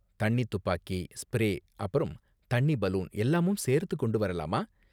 தண்ணி துப்பாக்கி, ஸ்பிரே அப்பறம் தண்ணி பலூன் எல்லாமும் சேர்த்து கொண்டு வரலாமா?